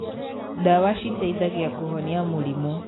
ndawa citeithagia kūhonia mūrimū.